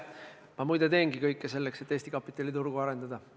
Ma muide teengi kõik selleks, et Eesti kapitaliturgu arendada.